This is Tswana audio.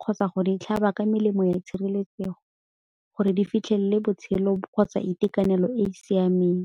kgotsa go di tlhaba ba ka melemo ya tshireletsego gore di fitlhelele botshelo kgotsa itekanele e e siameng.